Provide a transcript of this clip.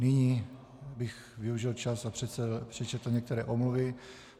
Nyní bych využil čas a přečetl některé omluvy.